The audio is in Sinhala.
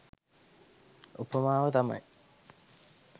උපමාව තමයි